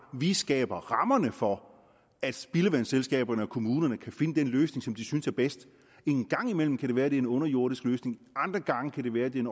vi skaber rammerne for at spildevandsselskaberne og kommunerne kan finde den løsning som de synes er bedst en gang imellem kan det være at det er en underjordisk løsning andre gange kan det være at det er